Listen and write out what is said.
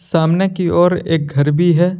सामने कि ओर एक घर भी है।